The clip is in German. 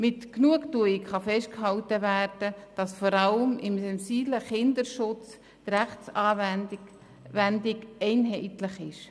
Mit Genugtuung kann festgehalten werden, dass die Rechtsanwendung vor allem im Bereich Kindesschutz einheitlich ist.